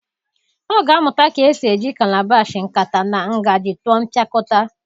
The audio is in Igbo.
Ọ ga-amụta ka esi eji calabash, nkata na ngaji tụọ mpịakọta